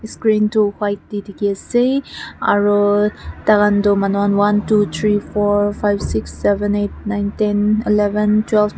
screen toh white te dikhi ase aru tai khan toh manu khan one two three four five six seven eight nine ten eleven twelve .